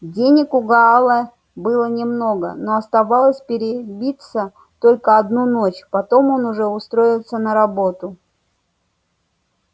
денег у гаала было немного но оставалось перебиться только одну ночь потом он уже устроится на работу